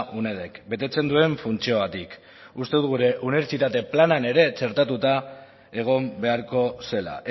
unedek betetzen duen funtziogatik uste dut gure unibertsitatearen planean ere txertatuta egon beharko zela